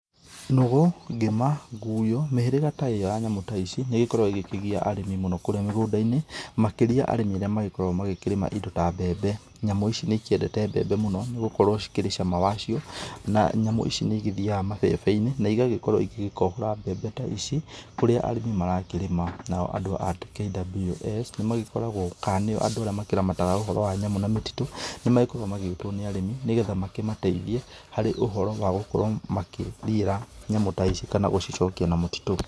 Nũgũ, ngĩma, nguyo, mĩhĩrĩga ta ĩo ya nyamũ ta ici, nĩigĩkoragwo igĩkĩgia arĩmi mũno kũrĩa mĩgũnda-inĩ, makĩria arĩmĩ arĩa magĩkoragwo magĩkĩrĩma indo ta mbembe. Nyamũ ici nĩikĩendete mbembe mũno, nĩgũkorwo cikĩrĩ cama wa cio, na nyamũ ici nĩ igĩthiaga mabebe-inĩ na igagĩkorwo igĩgĩkohora mbembe ta ici kũrĩa arĩmĩ marakĩrĩma. Nao andũ a ta KWS nĩmagĩkoragwo, kana, nĩo andũ arĩa makĩramataga ũhoro wa nyamũ na mĩtitũ. Nĩmagĩkoragwo magĩgĩtwo nĩ arĩmi, nĩgetha makĩmateithie harĩ ũhoro wa gũkorwo makĩrira nyamũ ta ici kana gũcicokia na mũtitũ.